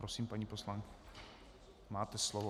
Prosím, paní poslankyně, máte slovo.